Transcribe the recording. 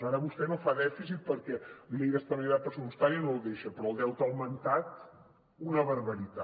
ara vostè no fa dèficit perquè la llei d’estabilitat pressupostària no el deixa però el deute ha augmentat una barbaritat